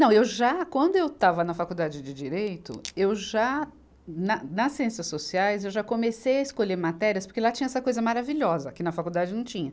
Não, eu já, quando eu estava na faculdade de direito, eu já, na, nas ciências sociais, eu já comecei a escolher matérias, porque lá tinha essa coisa maravilhosa, que na faculdade não tinha.